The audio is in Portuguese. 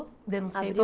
Denunciei todo